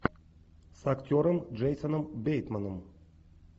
с актером джейсоном бейтманом